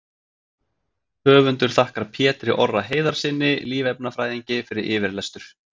Höfundur þakkar Pétri Orra Heiðarssyni lífefnafræðingi fyrir yfirlestur.